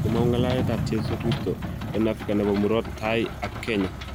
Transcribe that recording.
Komong'u ng'alalet Jeiso kristo en Afrika nebo Murot Tai ak Kenya